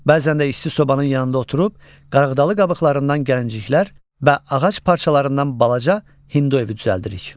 Bəzən də isti sobanın yanında oturub qarığdalı qabıqlarından gəlinciklər və ağac parçalarından balaca hindu evi düzəldirik.